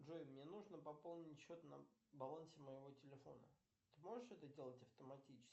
джой мне нужно пополнить счет на балансе моего телефона ты можешь это делать автоматически